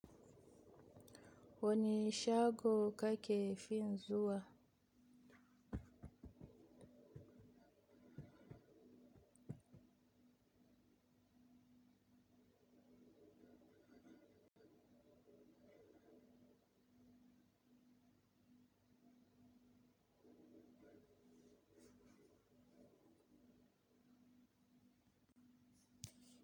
Wane shago kake fi zuwa.